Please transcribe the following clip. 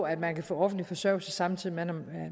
at man kan få offentlig forsørgelse samtidig med at